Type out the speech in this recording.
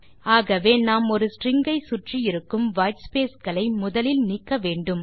ஆகவே நாம் ஒரு ஸ்ட்ரிங் ஐ சுற்றி இருக்கும் வைட்ஸ்பேஸ் களை முதலில் நீக்கவேண்டும்